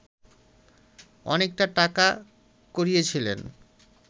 অনেক টাকা করিয়াছিলেন